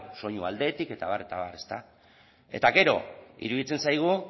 soinu aldetik eta abar eta abar eta gero iruditzen zaigu